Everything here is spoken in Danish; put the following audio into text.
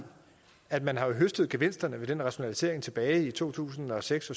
at man har høstet gevinsterne ved den rationalisering tilbage i to tusind og seks